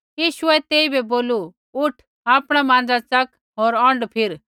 यीशुऐ तेइबै बोलू उठ आपणा माँज़ा च़क होर औंढ फिर